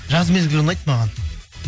жаз мезгілі ұнайды маған